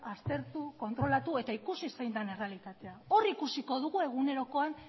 aztertu kontrolatueta ikusi zein den errealitatea hor ikusiko dugu egunerokoan